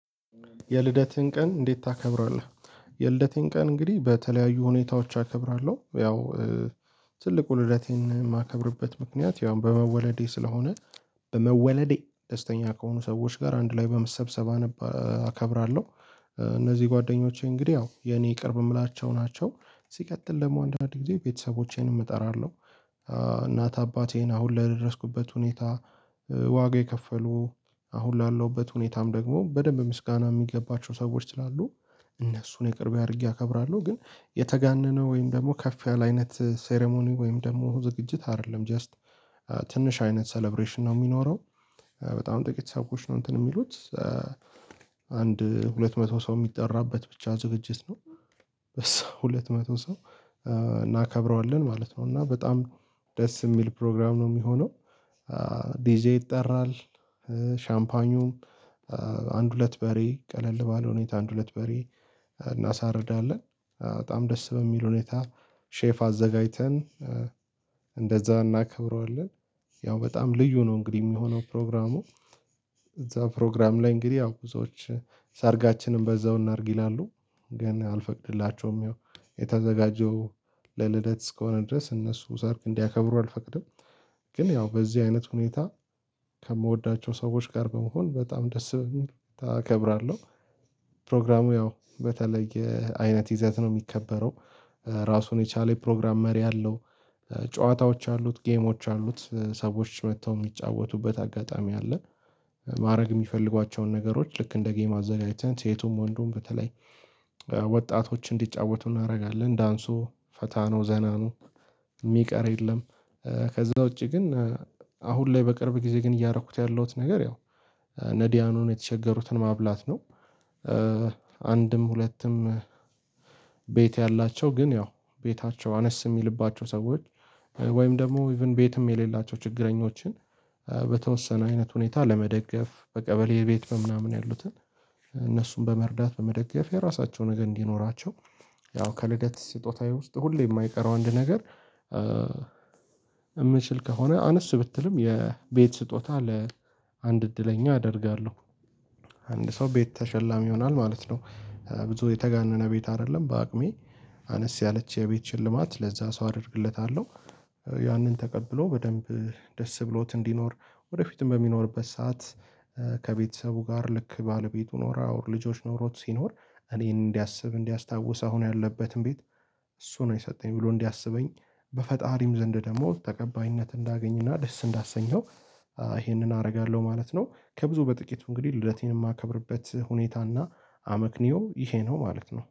የልደትህን ቀን እንዴት ታከብራለህ? የልደቴን ቀን እንግዲህ በተለያዩ ሁኔታዎች አከብራለሁ ያው ትልቁ ልደቴን የማከብርበት ምክንያት ያው በመወለዴ ስለሆነ በመወለዴ ደስተኛ ከሆኑ ሰዎች ጋር አንድ ላይ በመሰብሰብ አከብራለሁ እነዚህ ጓደኞቼ እንግዲህ ያው የኔ ቅርብ የምላቸው ናቸው ሲቀጥል ደግሞ አንድ አንድ ጊዜ ቤተሰቦቼን እጠራለሁ እናት አባቴን አሁን ለደረስኩበት ሁኔታ ዋጋ የከፈሉ አሁን ላለውበት ሁኔታም ደግሞ በደንብ ምስጋና የሚገባቸው ሰዎች ስላሉ እነሱን የቅርብ አድርጌ አከብራለሁ ግን የተጋነነ ወይም ደግሞ ከፍ ያለ አይነት ሴሬሞኒ ወይም ደግሞ ዝግጅት አይደለም ጀስት ትንሽ አይነት ሰለብሬሽን ነው የሚኖረው። በጣም ጥቂት ሰዎች ነው እንትን የሚሉት አንድ ሁለት መቶ ሰው የሚጠራበት ብቻ ዝግጅት ነው ሁለት መቶ ሰው እናከብረዋለን ማለት ነው እና በጣም ደስ የሚል ፕሮግራም ነው የሚሆነው ዲጄ ይጠራል ሻምፓኙም አንድ ሁለት በሬ ቀለል ባለው ሁኔታ አንድ ሁለት በሬ እናሳርዳለን በጣም ደስ በሚል ሁኔታ ሼፍ አዘጋጅተን እንደዛ እናከብረዋለን ያው በጣም ልዩ ነው እንግዲህ የሚሆነው ፕሮግራሙ እዛ ፕሮግራም ላይ እንግዲህ ያው ብዙዎች ሰርጋችንን በዛው እናድርግ ይላሉ። ግን አልፈቅድላቸውም ያው የተዘጋጀው ለልደት እስከሆነ ድረስ እነሱ ሰርግ እንዲያከብሩ አልፈቅድም ግን ያው በዚህ አይነት ሁኔታ ከምወዳቸው ሰዎች ጋር በመሆን በጣም ደስ በሚል አከብራለው። ፕሮግራሙ ያው በተለየ አይነት ይዘት ነው የሚከበረው። ራሱን የቻለ የፕሮግራም መሪ አለው። ጨዋታዎች አሉት ጌሞች አሉት ሰዎች መጥተው የሚጫወቱበት አጋጣሚ አለ። ማድረግ የሚፈልጓቸውን ነገሮች ልክ እንደ ጌም አዘጋጅተን ሴቱም ወንዱም በተለይ ወጣቶች እንዲጫወቱ እናደርጋለን ዳንሱ ፈታ ነው ዘና ነው የሚቀር የለም ከዛ ውጪ ግን አሁን ላይ በቅርብ ጊዜ ግን እያደረኩት ያለውት ነገር ያው ነዲያንን የተቸገሩትን ማብላት ነው ሁለትም ቤት ያላቸው ግን ያው ቤታቸው አነስ የሚልባቸው ሰዎች ወይም ደግሞ ኢቭን ቤትም የሌላቸው ችግረኞችን በተወሰነ አይነት ሁኔታ ለመደገፍ በቀበሌ ቤት በምናምን ያሉትን እነሱን በመርዳት በመደገፍ የራሳቸው ነገር እንዲኖራቸው ያው ከልደት ስጦታዬ ውስጥ ሁሌ የማይቀረው አንድ ነገር የምችል ከሆነ አነስ ብትልም የቤት ስጦታ ለአንድ እድለኛ አደርጋለሁ አንድ ሰው ቤት ተሸላሚ ይሆናል ማለት ነው። ብዙ የተጋነነ ቤት አይደለም በአቅሜ አነስ ያለች የቤት ሽልማት ለዛ ሰው አደርግለታለሁ ያንን ተቀብሎ በደንብ ደስ ብሎት እንዲኖር ወደ ፊትም በሚኖርበት ሰዓት ጋር ልክ ባለቤት ኖራው ልጆች ኖሮት ሲኖር እኔን እንዲያስብ እንዲያስታውስ አሁን ያለበትን ቤት እሱ ነው የሰጠኝ ብሎ እንዲያስበኝ በፈጣሪም ዘንድ ደግሞ ተቀባይነት እንዳገኝና ደስ እንዳሰኘው ይሄንን አደርጋለሁ ማለት ነው ከብዙ በጥቂቱ እንግዲህ ልደቴን የማከብርበት ሁኔታና አመክኒዮ ይሄ ነው ማለት ነው።